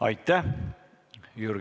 Aitäh!